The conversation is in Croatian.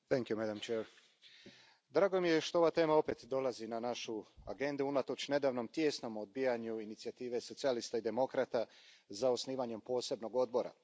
Poštovana predsjedavajuća, drago mi je što ova tema opet dolazi na našu agendu unatoč nedavnom tijesnom odbijanju inicijative socijalista i demokrata za osnivanjem posebnog odbora.